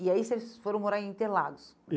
E aí vocês foram morar em Interlagos?